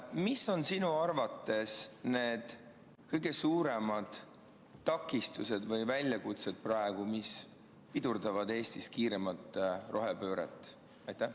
Mis on sinu arvates praegu need kõige suuremad takistused või väljakutsed, mis pidurdavad Eestis kiiremat rohepööret?